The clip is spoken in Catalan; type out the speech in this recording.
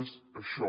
és això